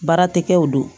Baara tɛ kɛw don